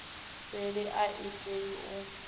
seli a i tei u